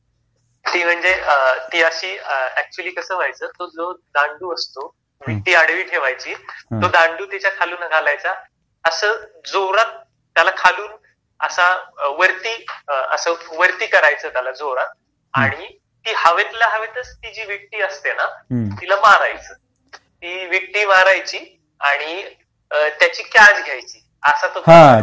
ती म्हणजे ती अशी ऍक्च्युली म्हणजे कसं व्हायचं तो जो दांडू असतो विटी आडवी ठेवायचे जो दांडू तिच्या खालून घालायचा अस जोरात त्याला खालून असा वरती असा वरती करायचं जोरात आणि ती हवेतल्या हवेत ती जी विटी असते ना तिला मारायचं ती विटी मारायची आणि त्याची कॅच घ्यायची असा तो खेळ आहे